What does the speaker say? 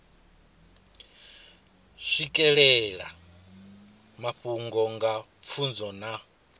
swikelela mafhungo nga pfunzo na